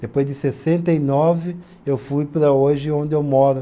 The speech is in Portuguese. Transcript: Depois de sessenta e nove, eu fui para hoje onde eu moro.